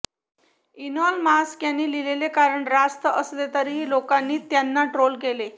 Elon Musk यांनी लिहिलेले कारण रास्त असले तरीही लोकांनी त्यांना ट्रोल केले